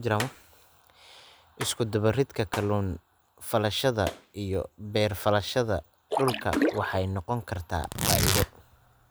Isku-dubbaridka kalluun-falashada iyo beer-falashada dhulka waxay noqon kartaa faa'iido.